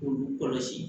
K'olu kɔlɔsi